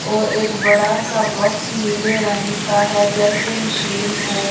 और एक बड़ा सा बॉक्स नीले रंग का है जैसे मशीन हो।